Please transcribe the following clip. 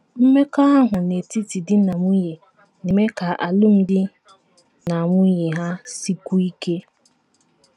Mmekọahụ n’etiti di na nwunye na - eme ka alụmdi na nwunye ha sikwuo ike.